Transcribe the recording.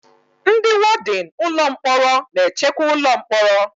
Ndị wọdịn ụlọ mkpọrọ na-echekwa ụlọ mkpọrọ